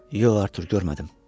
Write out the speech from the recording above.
Yox, Artur, görmədim.